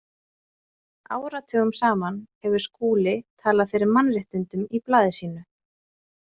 Áratugum saman hefur Skúli talað fyrir mannréttindum í blaði sínu.